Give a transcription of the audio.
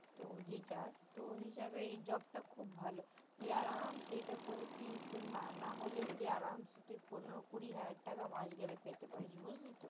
তো যে যাক উনি ভাবে এই job টা ভালো তুই আরামচে এটা করে তুই না হলেও তুই আরামচে তুই কমেও পনেরো কুড়ি হাজার টাকা মাস গেলে পেতে পারিস বুজলি তো